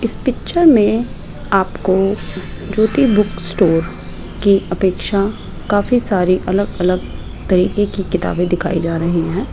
इस पिक्चर में आपको ज्योति बुक स्टोर की अपेक्षा काफी सारी अलग अलग तरीके की किताबें दिखाई जा रही हैं।